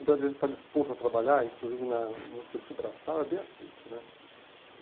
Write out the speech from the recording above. O brasileiro que está disposto a trabalhar, inclusive na no serviço braçal, é bem aceito, né?